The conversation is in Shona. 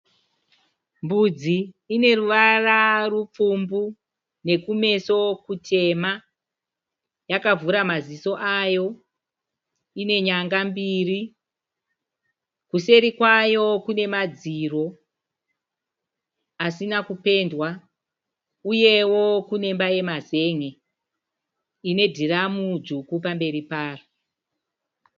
Mbudzi ineruvara rupfumbu nekumeso kutema . Yakavhura maziso ayo ine nyanga mbiri. Kuseri kwayo kune madziro asina kupendwa, Uyewo kune imba yemazen'e ine dhiramu dzvuku pamberi payo.